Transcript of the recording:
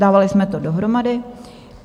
Dávali jsme to dohromady.